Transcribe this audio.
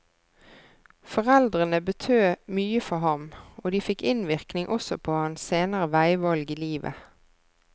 Foreldrene betød mye for ham, og de fikk innvirkning også på hans senere veivalg i livet.